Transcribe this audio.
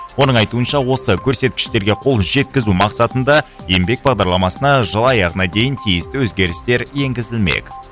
оның айтуынша осы көрсеткіштерге қол жеткізу мақсатында еңбек бағдарламасына жыл аяғына дейін тиісті өзгерістер енгізілмек